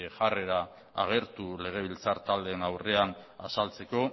jarrera agertu legebiltzar taldeen aurrean azaltzeko